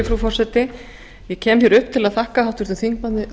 frú forseti ég kem upp til að þakka háttvirtum